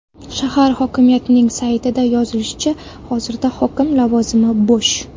Shahar hokimiyatining saytida yozilishicha, hozirda hokim lavozimi bo‘sh .